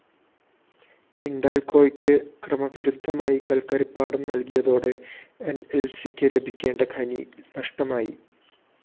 ഹിന്‍ഡാല്‍കോയ്ക്ക് ക്രമവിരുദ്ധമായി കല്‍ക്കരിപ്പാടം നല്‍കിയതോടെ എന്‍എല്‍സിക്കു ലഭിക്കേണ്ട മൈൻ നഷ്ടമായി